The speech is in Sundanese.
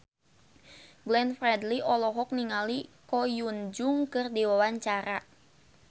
Glenn Fredly olohok ningali Ko Hyun Jung keur diwawancara